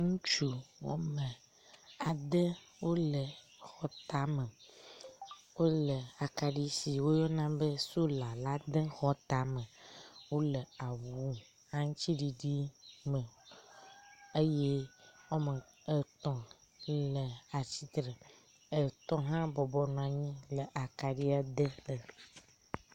Ŋutsu woame ade wole xɔ tame. Wole akaɖi si woyɔna be solar la dem xɔ tame. Wole awu aŋutsiɖiɖi me eye woame etɔ̃ le atsitre etɔ̃ hã bɔbɔ nɔanyi le akaɖie dem.